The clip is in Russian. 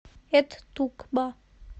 эт тукба